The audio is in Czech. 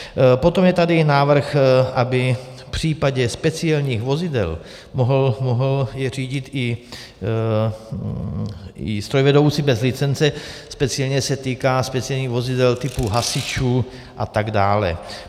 Potom je tady návrh, aby v případě speciálních vozidel je mohl řídit i strojvedoucí bez licence, speciálně se týká speciálních vozidel typu hasičů a tak dále.